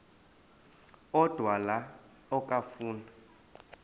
odwa la okafuna